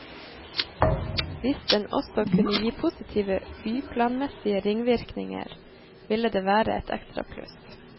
Hvis den også kunne gi positive byplanmessige ringvirkninger, ville det være et ekstra pluss.